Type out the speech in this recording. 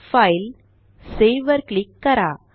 फायलेग्टसेव्ह वर क्लिक करा